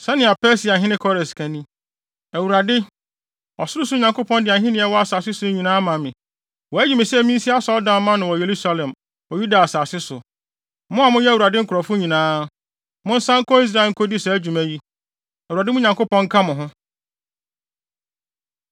“Sɛnea Persiahene Kores ka ni: “‘ Awurade, ɔsorosoro Nyankopɔn de ahenni a ɛwɔ asase so nyinaa ama me. Wayi me sɛ minsi asɔredan mma no wɔ Yerusalem wɔ Yuda asase so. Mo a moyɛ Awurade nkurɔfo nyinaa, monsan nkɔ Israel nkodi saa dwuma yi. Awurade, mo Nyankopɔn nka mo ho.’ ”